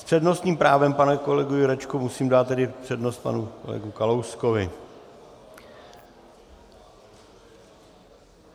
S přednostním právem, pane kolego Jurečko, musím dát tedy přednost panu kolegovi Kalouskovi.